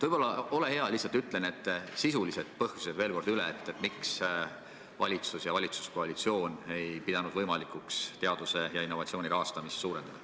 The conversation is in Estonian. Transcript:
Ole hea, lihtsalt ütle veel kord üle need sisulised põhjused, miks valitsus ja valitsuskoalitsioon ei pidanud võimalikuks teaduse ja innovatsiooni rahastamist suurendada.